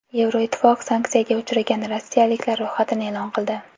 Yevroittifoq sanksiyaga uchragan rossiyaliklar ro‘yxatini e’lon qildi.